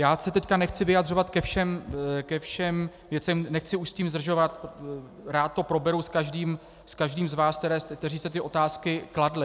Já se teď nechci vyjadřovat ke všem věcem, nechci už s tím zdržovat, rád to proberu s každým z vás, kteří jste ty otázky kladli.